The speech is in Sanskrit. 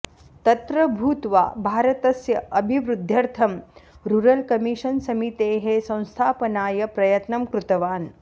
तत्र भूत्वा भारतस्य अभिवृद्ध्यर्थं रुरल् कमिशन् समितेः संस्थापनाय प्रयत्नं कृतवान्